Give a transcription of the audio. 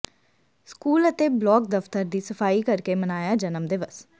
school ਅਤੇ block ਦਫਤਰ ਦੀ ਸਫਾਈ ਕਰਕੇ ਮਨਾਇਆ ਜਨਮ ਦਿਵਸ